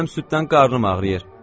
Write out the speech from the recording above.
Mənim süddən qarnım ağrıyır.